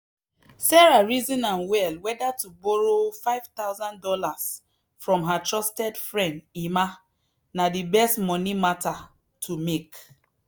sarah reason am well whether to borrow five thousand dollars from her trusted friend emma na the best money matter to make.